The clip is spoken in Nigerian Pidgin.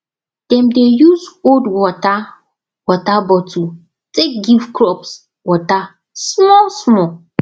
dem dey use old water water bottle take give crops water smallsmall